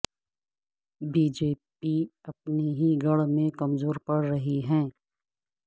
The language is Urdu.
بی جے پی اپنے ہی گڑھ میں کمزور پڑ رہی ہے